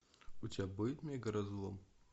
у тебя будет мегаразлом